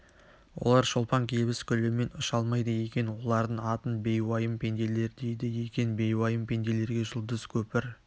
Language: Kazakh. олар шолпанкебіс гүлімен ұша алмайды екен олардың атын бейуайым пенделер дейді екен бейуайым пенделерге жұлдыз көпір